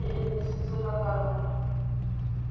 e emiseditswe ka karolo ya